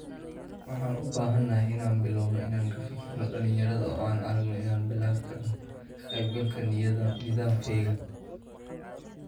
Waxaan u baahanahay inaan bilowno inaan ka fikirno dhalinyarada oo aan aragno inaan bilaabi karno ka qayb galka nidaamkayaga''.